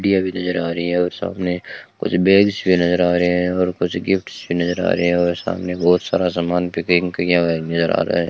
भी नजर आ रही है और सामने कुछ बैग्स भी नजर आ रहे हैं और कुछ गिफ्ट्स नजर आ रहे हैं और सामने बहोत सारा सामान पिकिंग किया हुआ नजर आ रहा है।